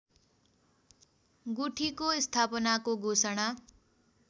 गुठीको स्थापनाको घोषणा